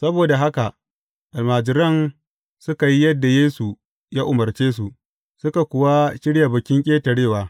Saboda haka almajiran suka yi yadda Yesu ya umarce su, suka kuwa shirya Bikin Ƙetarewa.